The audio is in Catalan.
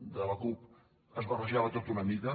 de la cup es barrejava tot una mica